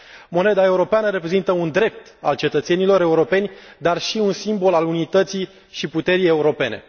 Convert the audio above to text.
Moneda europeană reprezintă un drept al cetățenilor europeni, dar și un simbol al unității și puterii europene.